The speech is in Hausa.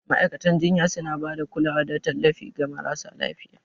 Ma'aikatan jinya suna ba da kulawa da tallafi ga marasa lafiya.